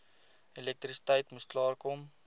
elektrisiteit moes klaarkom